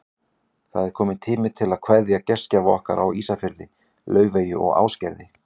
Það er kominn tími til að kveðja gestgjafa okkar á Ísafirði, Laufeyju og Ásgerði.